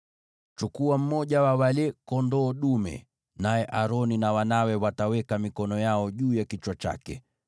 “Chukua mmoja wa wale kondoo dume, naye Aroni na wanawe wataweka mikono yao juu ya kichwa chake.